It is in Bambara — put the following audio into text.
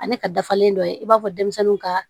Ani ka dafalen dɔ ye i b'a fɔ denmisɛnninw ka